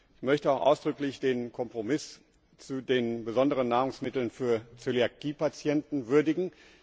Ich möchte auch ausdrücklich den Kompromiss zu den besonderen Nahrungsmitteln für Zöliakiepatienten würdigen.